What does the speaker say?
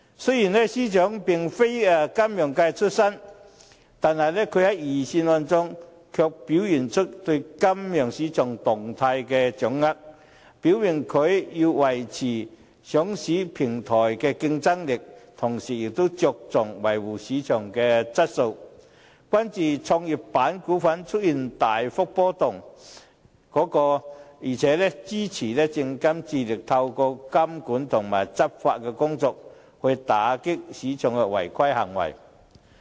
雖然司長並非出身金融界，他在預算案中卻表現出對金融市場動態的掌握，表明既要維持上市平台的競爭力，同時也着重維護市場的質素，關注創業板股份出現股價大幅波動，而且支持證券及期貨事務監察委員會致力透過監管和執法工作，打擊市場的違規行動。